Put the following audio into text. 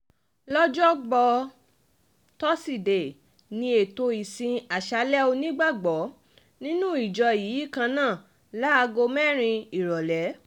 lọ́jọ́bọ́ tọ́sídẹ̀ẹ́ ní ètò ìsìn aṣáálẹ̀ onígbàgbọ́ nínú ìjọ yìí kan náà láago mẹ́rin ìrọ̀lẹ́